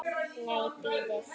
Nei, bíðið.